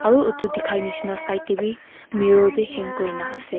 aru utu dikhai nishina side teh wii mirror bi hang kurina ase.